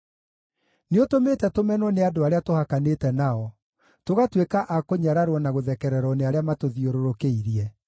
Nĩũtũmĩte tũmenwo nĩ andũ arĩa tũhakanĩte nao, tũgatuĩka a kũnyararwo na gũthekererwo nĩ arĩa matũthiũrũrũkĩirie.